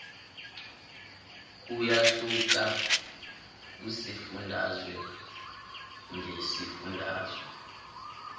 kuyahluka kusifundazwe ngesifundazwe